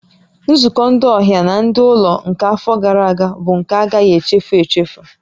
Nzukọ ndị ọhịa na ndị ụlọ nke afọ gara aga bụ nke a agaghị echefu echefu